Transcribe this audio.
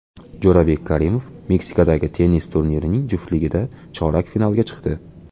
Jo‘rabek Karimov Meksikadagi tennis turnirining juftligida chorak finalga chiqdi.